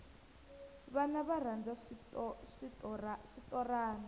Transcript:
vana va rhandza switorana